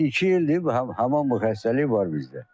İki ildir, həmin bu xəstəlik var bizdə.